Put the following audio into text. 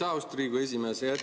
Aitäh, austatud Riigikogu esimees!